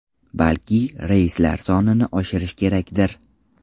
Balki reyslar sonini oshirish kerakdir?